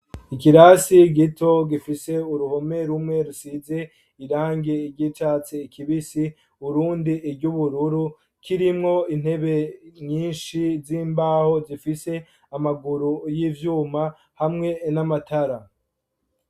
Ikirasi gito gifise uruhome rumwe rusize irangi ry'icatsi kibisi urundi iryubururu kirimwo intebe nyinshi z'imbaho zifise amaguru y'ivyuma hamwe n'amatara.